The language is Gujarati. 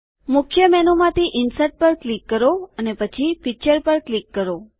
મુખ્ય મેનુ માંથી ઇન્સર્ટ પર ક્લિક કરો અને પછી પિક્ચર પર ક્લિક કરો